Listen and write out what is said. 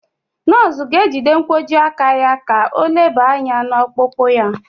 Nọọsụ ga-ejide nkwojiaka ya ka o leba anya n'ọkpụkpụ ya.